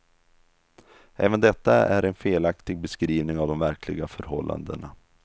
Även detta är en felaktig beskrivning av de verkliga förhållandena.